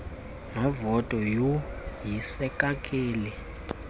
novoti yhu yisekakeli